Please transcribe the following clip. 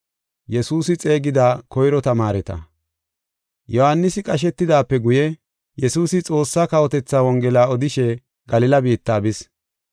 Yohaanisi qashetidaape guye, Yesuusi Xoossaa kawotethaa Wongela odishe Galila biitta bis.